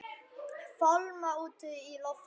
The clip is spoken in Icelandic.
Fálma út í loftið.